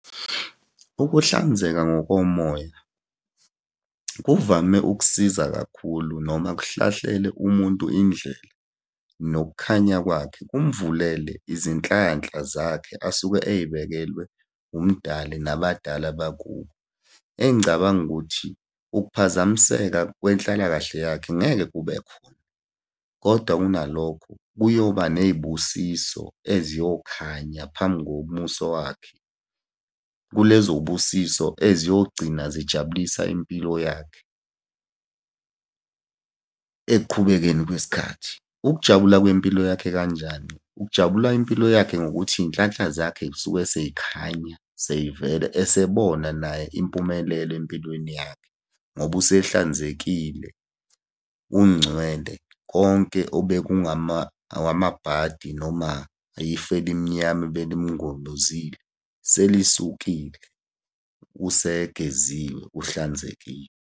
Ukuhlanzeka ngokomoya kuvame ukusiza kakhulu noma kuhlahlele umuntu indlela, nokukhanya kwakhe kumvulele izinhlanhla zakhe asuke ey'bekelwe uMdali nabadala bakubo. Engicabanga ukuthi, ukuphazamiseka kwenhlalakahle yakhe ngeke kube khona, kodwa kunalokho, kuyoba ney'busiso eziyokhanya phambi komuso wakhe. Kulezo y'busiso eziyogcina zijabulisa impilo yakhe ekuqhubekeni kwesikhathi. Ukujabula kwempilo yakhe kanjani? Kujabula impilo yakhe ngokuthi iy'nhlanhla zakhe y'suke sey'khanya, sey'vela, esebona naye impumelelo empilweni yakhe, ngoba usehlanzekile, ungcwele. Konke obekungama awamabhadi noma yifu elimnyama abelimngobuzile selisukile, usegeziwe, uhlanzekile.